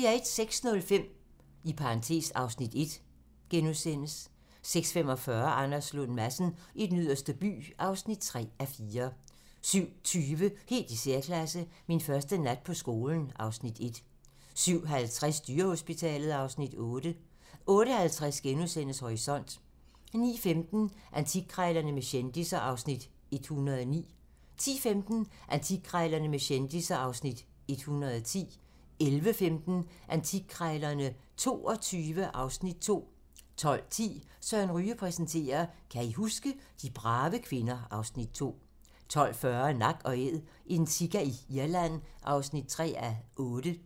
06:05: (Afs. 1)* 06:45: Anders Lund Madsen i Den Yderste By (3:4) 07:20: Helt i særklasse - Min første nat på skolen (Afs. 1) 07:50: Dyrehospitalet (Afs. 8) 08:50: Horisont * 09:15: Antikkrejlerne med kendisser (Afs. 109) 10:15: Antikkrejlerne med kendisser (Afs. 110) 11:15: Antikkrejlerne XXII (Afs. 2) 12:10: Søren Ryge præsenterer: Kan I huske? - De brave kvinder (Afs. 2) 12:40: Nak & Æd - en sika i Irland (3:8)